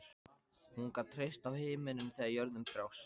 Hún gat treyst á himininn þegar jörðin brást.